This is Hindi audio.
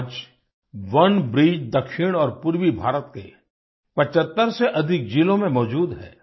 आज ओनेब्रिज दक्षिण और पूर्वीभारत के 75 से अधिक जिलों में मौजूद है